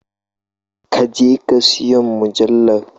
Ka je ka siyon mujallar